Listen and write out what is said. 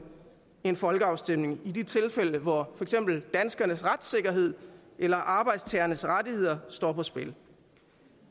en folkeafstemning i de tilfælde hvor eksempel danskernes retssikkerhed eller arbejdstagernes rettigheder står på spil